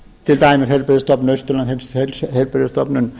til dæmis heilbrigðisstofnun austurlands heilbrigðisstofnun